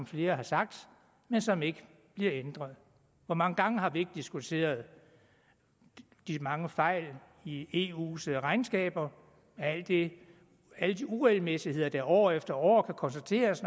flere har sagt men som ikke bliver ændret hvor mange gange har vi ikke diskuteret de mange fejl i eus regnskaber alle de uregelmæssigheder der år efter år kan konstateres